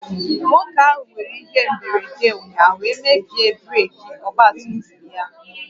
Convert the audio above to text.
Nwoke ahụ nwéré ihe mberede ụnyaahụ wee mebie breeki ọgba tum tum ya